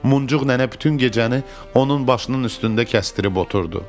Muncuq nənə bütün gecəni onun başının üstündə kəsdirib oturdu.